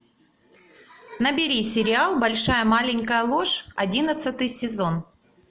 набери сериал большая маленькая ложь одиннадцатый сезон